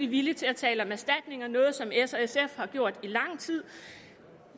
villig til at tale om erstatninger noget som s og sf har gjort i lang tid